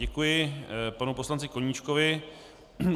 Děkuji panu poslanci Koníčkovi.